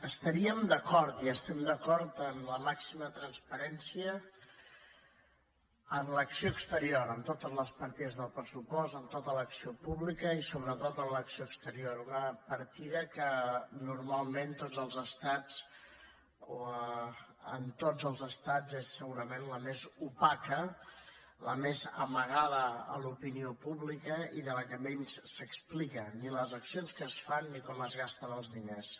estaríem d’acord i estem d’acord en la màxima transparència en l’acció exterior en totes les partides del pressupost en tota l’acció pública i sobretot en l’acció exterior una partida que normalment en tots els estats és segurament la més opaca la més amagada a l’opinió pública i de la qual menys s’explica ni les accions que es fan ni com es gasten els diners